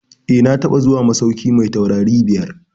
Eh, na taɓa zuwa masauki mai taurari biyar.